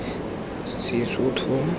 sesotho